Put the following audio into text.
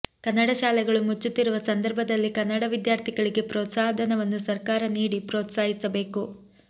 ಕನ್ನಡ ಶಾಲೆಗಳು ಮುಚ್ಚುತ್ತಿರುವ ಸಂದರ್ಭದಲ್ಲಿ ಕನ್ನಡ ವಿದ್ಯಾರ್ಥಿಗಳಿಗೆ ಪ್ರೋತ್ಸಾಹಧನವನ್ನು ಸರ್ಕಾರ ನೀಡಿ ಪ್ರೋತ್ಸಾಹಿಸಬೇಕು